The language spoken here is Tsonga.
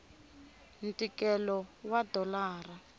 ntikelo wa dolara